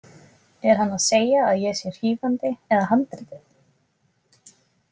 Er hann að segja að ég sé hrífandi eða handritið?